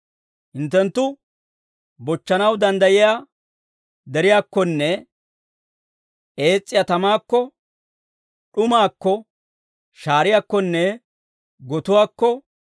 Hinttenttu bochchanaw danddayiyaa deriyaakkonne ees's'iyaa tamaakko, d'umaakko, shaariyaakkonne gotuwaakko,